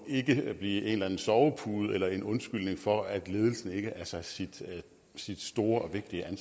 blive en eller anden sovepude eller en undskyldning for at ledelsen ikke er sig sit sit store